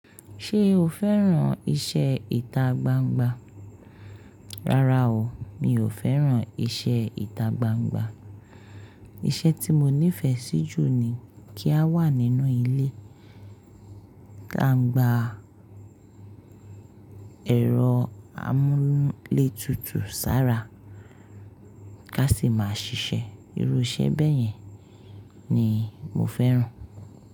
Ṣé o fẹ́ràn iṣẹ́ ìta gbangba? Rárá o, mi ò fẹ́ràn iṣẹ́ ìta gbangba. Iṣẹ́ tí mo nífẹ̀ẹ́ sí jù ni kí a wà nínú ilé, tá ń gba ẹ̀rọ amúlétutù sára, ká sì máa ṣiṣẹ́. Irú iṣẹ́ bẹ́ẹ̀ yẹn ni mo fẹ́ràn.